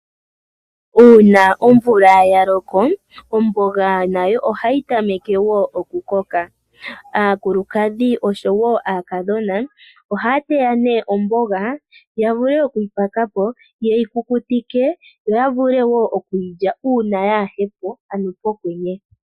Uuna omvula yaloko, omboga nayo ohayi tameke okukoka. Aakulukadhi oshowoo aakadhona ohaya mu omboga, yavule okuyipakapo, yeyi kukutike, yo yavule okuyi lya uuna yaahepo ano pokwenye.